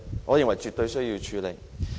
我認為絕對需要處理。